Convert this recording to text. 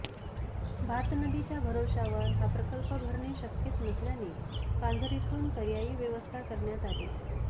भात नदीच्या भरवश्यावर हा प्रकल्प भरणे शक्यच नसल्याने पांझरेतुन पर्यायी व्यवस्था करण्यात आली